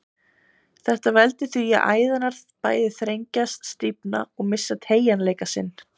Þetta veldur því að æðarnar bæði þrengjast, stífna og missa teygjanleika sinn.